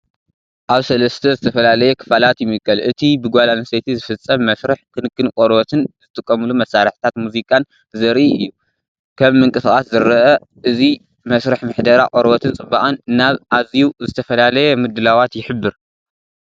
ኣብ ሰለስተ ዝተፈላለየ ክፋላት ይምቀል። እቲ ብጓል ኣንስተይቲ ዝፍጸም መስርሕ ክንክን ቆርበትን ዝጥቀመሉ መሳርሒታት ሙዚቃን ዘርኢ እዩ። ከም ምንቅስቓስ ዝረአ እዚ መስርሕ ምሕደራ ቆርበትን ጽባቐን ናብ ኣዝዩ ዝተፈላለየ ምድላዋት ይሕብር።